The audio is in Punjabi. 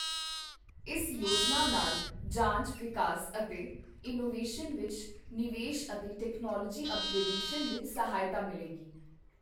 ਇਸ ਯੋਜਨਾ ਨਾਲ ਜਾਂਚ, ਵਿਕਾਸ ਅਤੇ ਇਨੋਵੇਸ਼ਨ ਵਿੱਚ ਨਿਵੇਸ਼ ਅਤੇ ਟੈਕਨੋਲਵੋਜੀ ਅੱਪਗ੍ਰੇਡਸ਼ਨ ਵਿੱਚ ਸਹਾਇਤਾ ਮਿਲੇਗੀ।